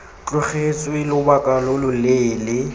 tlogetswe lobaka lo lo leele